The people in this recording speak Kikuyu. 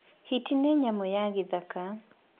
Hiti nĩ nyamũ ya gĩthaka.